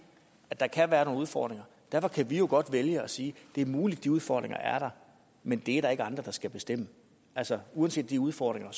at der kan være nogle udfordringer derfor kan vi jo godt vælge at sige at det er muligt at de udfordringer er der men det er der ikke andre der skal bestemme altså uanset de udfordringer